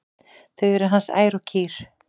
Þau eru hans ær og kýr.